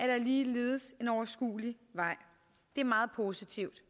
der ligeledes en overskuelig vej det er meget positivt